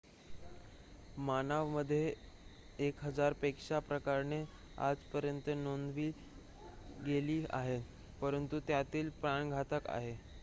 मानवामध्ये एक हजार पेक्षा प्रकरणे आजपर्यंत नोंदवली गेली आहेत परंतु त्यातील प्राणघातक आहेत